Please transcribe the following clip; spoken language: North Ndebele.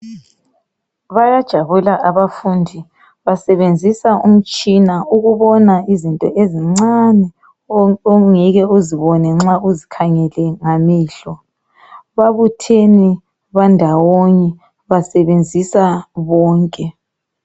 Bayajabula abafundi basebenzisa umtshina ukubona izinto ezincane ongeke uzibone nxa ukhangele ngamehlo. Babuthene bandawonye basebenzisa bonke.